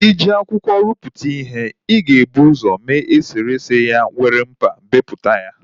I ji akwụkwọ ruputu ihe, ị ga-ebu usọ mee eserese ya were mkpa beputa ya